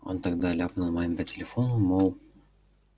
он тогда ляпнул маме по телефону мол